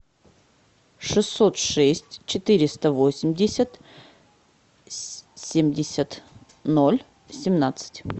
шестьсот шесть четыреста восемьдесят семьдесят ноль семнадцать